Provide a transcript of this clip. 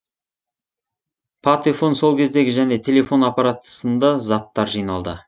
патефон сол кездегі және телефон аппараты сынды заттар жиналды